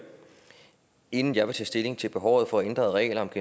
inden jeg vil tage stilling til behovet for ændrede regler om